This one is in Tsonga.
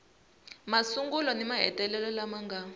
masungulo ni mahetelelo lama nga